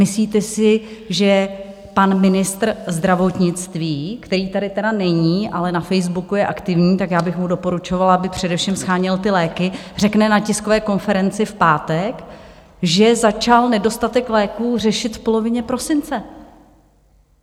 Myslíte si, že pan ministr zdravotnictví, který tady teda není, ale na Facebooku je aktivní, tak já bych mu doporučovala, aby především sháněl ty léky, řekne na tiskové konferenci v pátek, že začal nedostatek léků řešit v polovině prosince.